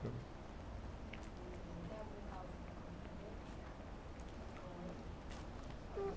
meu amigo. tem algum causo para contar dele? Com ele?h...